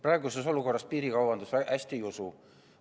Praeguses olukorras piirikaubandus – hästi ei usu.